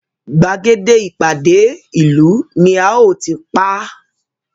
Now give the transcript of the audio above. Gbàgede ìpàdé ìlú ni a óò tí pa á